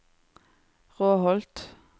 Råholt